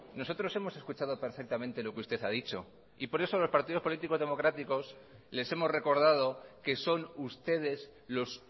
nosotros hemos escuchado perfectamente lo que usted ha dicho y por eso los partidos políticos democráticos les hemos recordado que son ustedes los